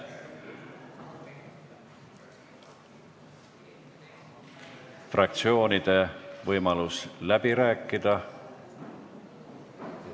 Fraktsioonidel on võimalus läbi rääkida.